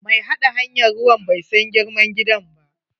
Mai haɗa hanyan ruwan bai san girman gidan ba.